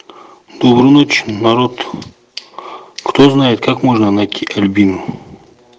доброй ночи народ кто знает как можно найти альбину